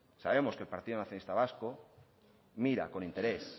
sabemos que el partido nacionalista vasco mira con interés